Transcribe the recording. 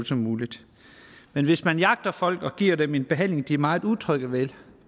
som muligt men hvis man jagter folk og giver dem en behandling de er meget utrygge ved